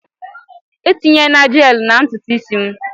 Etinyena Jeelụ na ntutu isi m!